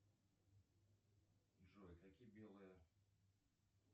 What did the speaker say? джой какие белые